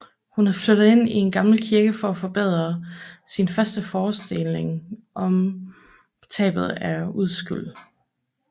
Hun er flyttet ind i gammel kirke for at forberede sin første forestilling om tabet af uskyld